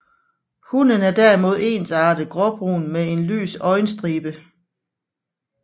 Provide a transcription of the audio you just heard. Hunnen er derimod ensartet gråbrun med en lys øjenstribe